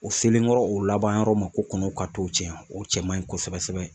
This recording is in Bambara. O selen kɔrɔ o laban yɔrɔ ma ko kɔnɔw ka to cɛn o cɛ man ɲi kosɛbɛ sɛbɛ